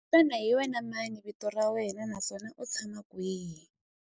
Xana hi wena mani vito ra wena naswona u tshama kwihi?